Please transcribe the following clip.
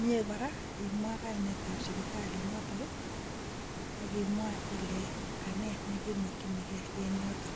mie koraa imwa kainet ab sipitalit noton nii ak imwa ile kanee nekemokinii gee en yoton.